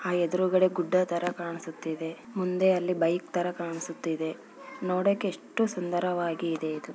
ಕಾಣಿಸುತ್ತದೆ ಆ ಎದುರುಗಡೆ ಗುಡ್ಡ ತರ ಕಾಣಿಸುತ್ತಿದೆ ಮುಂದೆ ಅಲ್ಲಿ ಬೈಕ್ ತರ ಕಾಣಿಸುತ್ತಿದೆ. ನೋಡಕ್ಕೆ ಎಷ್ಟುಸುಂದರವಾಗಿದೆ ಇದು